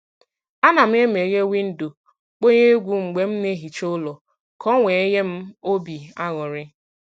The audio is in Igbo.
A na m e meghee windo, kpọnye egwu mgbe m na-ehicha ụlọ ka ọ wee nye m obi aṅụrị